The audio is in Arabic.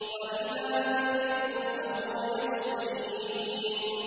وَإِذَا مَرِضْتُ فَهُوَ يَشْفِينِ